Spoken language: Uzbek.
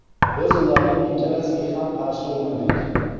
Biz ularning ikkalasiga ham qarshi o‘ynadik.